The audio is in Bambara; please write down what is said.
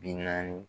Bi naani